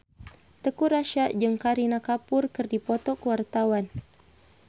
Teuku Rassya jeung Kareena Kapoor keur dipoto ku wartawan